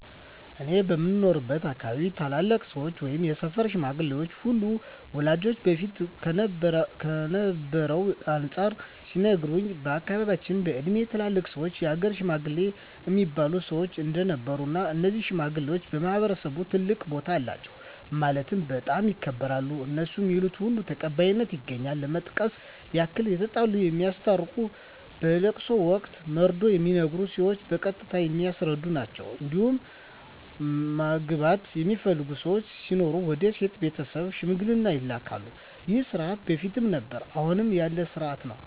እኔ በምኖርበት አካባቢ ታላላቅ ሰዎች ወይም የሰፈር ሽማግሌዎች አሉ ወላጆቼ በፊት ከነበረው አንፃር ሲነግሩኝ በአካባቢያቸው በእድሜ ትላልቅ ሰዎች የሀገር ሽማግሌ እሚባሉ ሰዎች እንደነበሩ እና እነዚህ ሽማግሌዎች በማህበረሰቡ ትልቅ ቦታ አላቸው ማለትም በጣም ይከበራሉ እነሡ ሚሉት ሁሉ ተቀባይነት ያገኛል ለመጥቀስ ያክል የተጣላ የሚያስታርቁ በለቅሶ ወቅት መርዶ ሚነገር ሲሆን በቀስታ የሚያስረዱ ናቸዉ እንዲሁም ማግባት የሚፈልግ ሰው ሲኖር ወደ ሴቷ ቤተሰብ ሽምግልና ይላካሉ ይህ ስርዓት በፊትም ነበረ አሁንም ያለ ስርአት ነው።